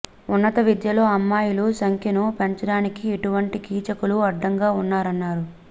ఉన్నత విద్యలో అమ్మాయిల సంఖ్యను పెంచడానికి ఇటువంటి కీచకులు అడ్డంగా ఉన్నారన్నారు